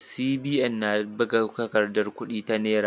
CBN na buga takardar kudi ta Naira.